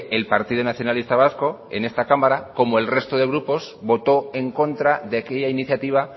el partido nacionalista vasco en esta cámara como el resto de grupos votó en contra de aquella iniciativa